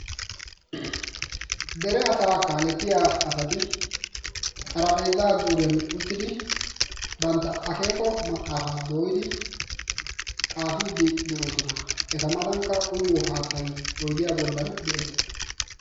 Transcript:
Dere asaa kaalettiya asati xaraphpheezaa zuuriyan uttidi bantta akeeko maxaafaa dooyidi xaafiiddi de'oosona. Eta matankka uyiyo haattay oydiya bollan de'ees.